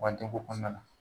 U ka den ko kɔnɔna na.